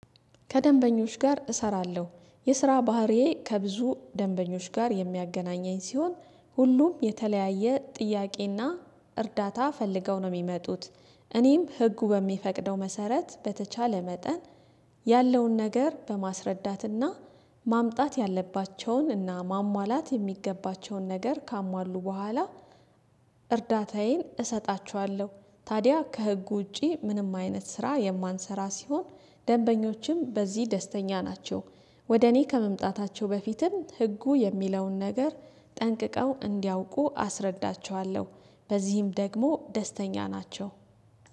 ከደንበኞች ጋር እሰራለሁ የስራ ባህሪዬ ከብዙ ደንበኞች ጋር የሚያገናኘኝ ሲሆን ሁሉም የተለያየ ጥያቄና እርዳታ ፈልገው ነው የሚመጡት። እኔም ህጉ በሚፈቅደው መሰረት በተቻለ መጠን ያለውን ነገር በማስረዳትና ማምጣት ያለባቸውንና እና ማሟላት የሚገባቸውን ነገር ካሟሉ በኋላ እርዳታዬን እሰጣችኋለሁ። ታዲያ ከህጉ ውጪ ምንም አይነት ስራ የማንሰራ ሲሆን ደንበኞችም በዚህ ደስተኛ ናቸው። ወደ እኔ ከመምጣታቸው በፊትም ህጉ የሚለውን ነገር ጠንቅቀው እንዲያውቁ አስረዳቸዋለሁ። በዚህም ደግሞ ደስተኛ ናቸው